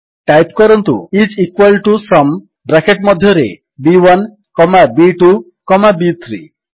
type କରନ୍ତୁ is equal to sum bracket ମଧ୍ୟରେ ବି1 କମା ବି2 କମା ବି3